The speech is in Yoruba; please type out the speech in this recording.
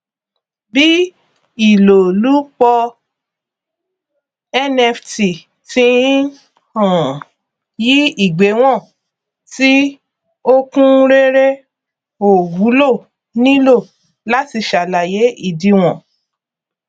bí ìlòlúpọ nft tí ń um yí ìgbéwòn tí ó kún réré ò wúlò nílò láti sàlàyé ìdíwọn